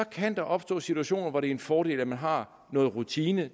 kan der opstå situationer hvor det er en fordel at man har noget rutine